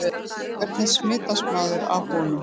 Hvernig smitast maður af honum?